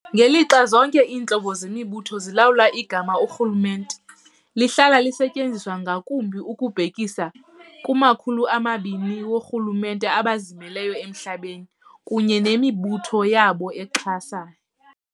Ngelixa zonke iintlobo zemibutho zilawula, igama "urhulumente" lihlala lisetyenziswa ngakumbi ukubhekisa kuma-200 woorhulumente abazimeleyo emhlabeni, kunye nemibutho yabo exhasa.